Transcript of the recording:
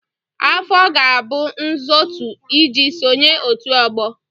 Afọ ga-abụ ntozu iji sonyere ọtu ogbo.